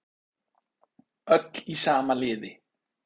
Öll í sama liði